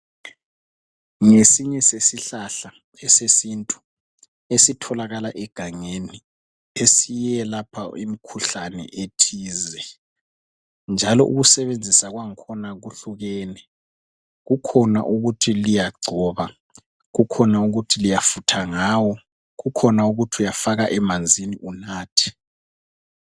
Ngesinye sesihlahla esesintu esitholakala egangeni esiyelapha imikhuhlane ethize njalo ukusebenzisa kwangakhona kuhlukene. Kukhona ukuthi liyagcoba, kukhona ukuthi liyafutha ngawo, kukhona ukuthi uyafaka emanzini unathe.